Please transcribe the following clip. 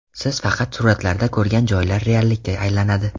Siz faqat suratlarda ko‘rgan joylar reallikka aylanadi.